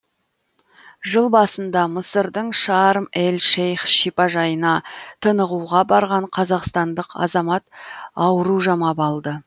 жыл басында мысырдың шарм эль шейх шипажайына тынығуға барған қазақстандық азамат ауру жамап алды